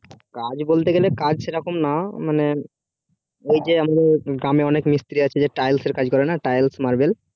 কাজ বলতে গেলে কাজ সেই রকম না মানে আহ ওই যে গ্রামে অনেক মিস্ত্রি আছে tiles এর কাজ করে না tiles marbel